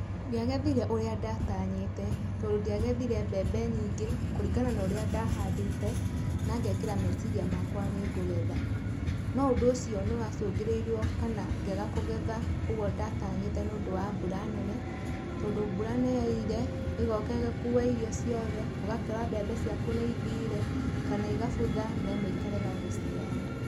Ndiagethire ũria ndatanyĩte, tondũ ndiagethire mbembe nyingĩ kũringana na ũrĩa ndahandĩte, na ngekĩra meciria makwa nĩ ngũgetha. No ũndũ ũcio nĩwacũngĩrĩirio kana ngĩaga kũgetha ũguo ndatanyĩte nĩũndũ wa mbura nene, tondũ mbura nĩyoirire ĩgoka ĩgakua irio ciothe, ũgakora mbembe ciaku nĩithire kana igabutha na imwe ikarega gũciara.